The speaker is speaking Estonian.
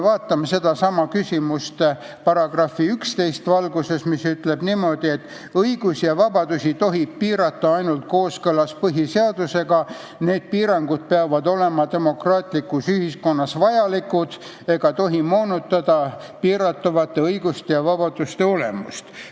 Vaatame sedasama küsimust § 11 valguses, mis ütleb niimoodi, et õigusi ja vabadusi tohib piirata ainult kooskõlas põhiseadusega ning need piirangud peavad olema demokraatlikus ühiskonnas vajalikud ega tohi moonutada piiratavate õiguste ja vabaduste olemust.